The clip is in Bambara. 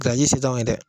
Gariji se t'anw ye dɛ